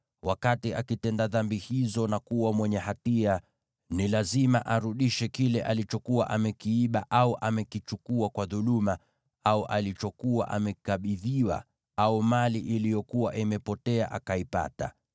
wakati akitenda dhambi hizo na kuwa mwenye hatia, ni lazima arudishe kile alichokuwa amekiiba au amekichukua kwa dhuluma, au alichokuwa amekabidhiwa, au mali iliyokuwa imepotea akaipata,